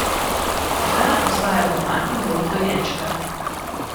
Hana ostaja doma in doji dojenčka.